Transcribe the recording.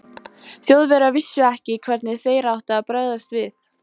Þjóðverjar vissu ekki, hvernig þeir áttu að bregðast við.